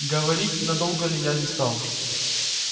говорить на долго ли я не стал